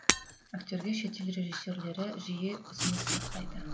актерге шетел режиссерлері жиі ұсыныс тастайды